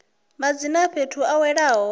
madzina a fhethu a welaho